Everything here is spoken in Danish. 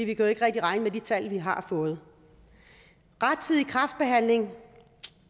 ikke rigtig regne med de tal vi har fået rettidig kræftbehandling